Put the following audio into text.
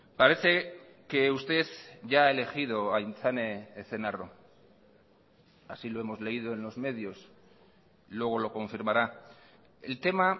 parece que usted ya ha elegido a aintzane ezenarro así lo hemos leído en los medios luego lo confirmará el tema